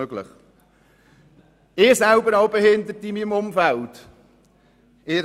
Ich selber habe in meinem Umfeld ebenfalls Behinderte.